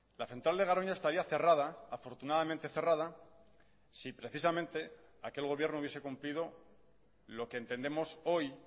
la central de garoña estaría cerrada afortunadamente cerrada si precisamente aquel gobierno hubiese cumplido lo que entendemos hoy